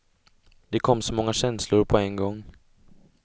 Det kom så många känslor på en gång.